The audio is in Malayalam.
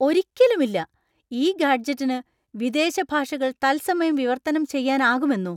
ഒരിക്കലുമില്ല ! ഈ ഗാഡ്‌ജെറ്റിന് വിദേശ ഭാഷകൾ തത്സമയം വിവർത്തനം ചെയ്യാനാകുമെന്നോ ?